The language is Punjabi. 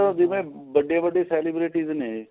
ਆ ਜੀਵਾਂ ਵੱਡੇ ਵੱਡੇ celebrities ਨੇ